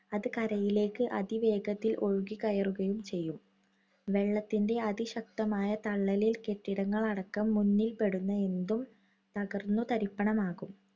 അത് കരയിലേയ്ക്ക് അതിവേഗത്തിൽ ഒഴുകി കയറുകയും ചെയ്യും. വെള്ളത്തിന്‍റെ അതിശക്തമായ തള്ളലിൽ കെട്ടിടങ്ങളടക്കം മുന്നിൽപെടുന്ന എന്തും തകർന്നു തരിപ്പണമാകും.